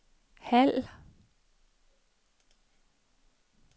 halv